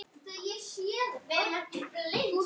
Hann er ennþá heitur.